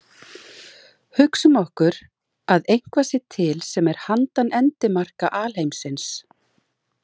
Hugsum okkur að eitthvað sé til sem er handan endimarka alheimsins.